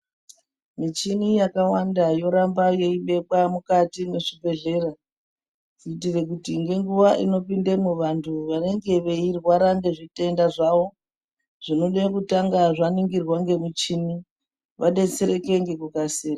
Michini yakawanda yoramba yeibekwa mukati mwezvi bhedhlera, kuitire kuti ngenguwa inopindemwo vantu vanenge veirwara ngezvitenda zvavo, zvinoda kutanga zvaningirwa ngemuchini, vadetsereke ngekukasira.